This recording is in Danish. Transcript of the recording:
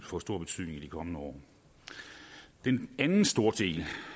få stor betydning i de kommende år den anden store del